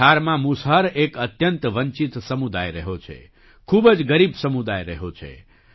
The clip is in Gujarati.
બિહારમાં મુસહર એક અત્યંત વંચિત સમુદાય રહ્યો છે ખૂબ જ ગરીબ સમુદાય રહ્યો છે